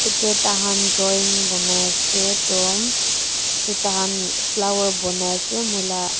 yate tahan drawing banai ase toh edu tahan flower banai ase moila--